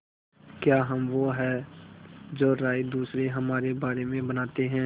क्या हम वो हैं जो राय दूसरे हमारे बारे में बनाते हैं